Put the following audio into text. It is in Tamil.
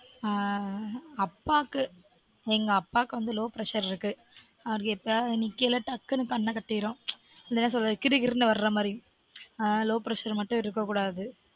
ஆஹ் அப்பாக்கு எங்க அப்பாக்கு வந்து low pressure இருக்கு அவருக்கு எப்பயாவது வந்து கீழ டக்குனு கண்ண கட்டிரும் என்ன சொல்றது கிறுகிறுன்னு வர்ர மாதிரி ஆன் low pressure மட்டும் இருக்க கூடாது